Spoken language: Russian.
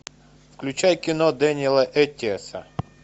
включай кино дэниэла эттиэса